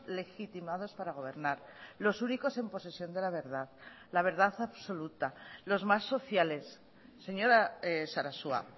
legitimados para gobernar los únicos en posesión de la verdad la verdad absoluta los más sociales señora sarasua